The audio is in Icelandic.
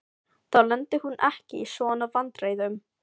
Þá lenti hún ekki í svona vandræðum.